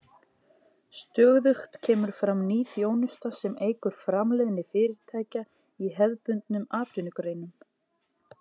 Stöðugt kemur fram ný þjónusta sem eykur framleiðni fyrirtækja í hefðbundnum atvinnugreinum.